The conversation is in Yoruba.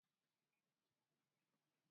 Àwọn oníwòsàn ṣàlàyé àwọn àmì ìbẹ̀rẹ̀ àti ìtumọ̀ wọn.